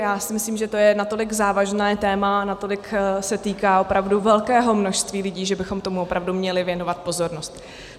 Já si myslím, že to je natolik závažné téma, natolik se týká opravdu velkého množství lidí, že bychom tomu opravdu měli věnovat pozornost.